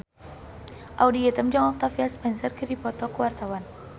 Audy Item jeung Octavia Spencer keur dipoto ku wartawan